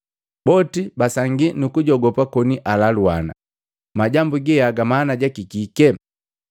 Boti basangi nukujogopa koni alaluana, “Majambu geaga mana jaki kike?”